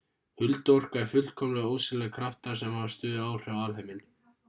hulduorka er fullkomlega ósýnilegir kraftar sem hafa stöðug áhrif á alheiminn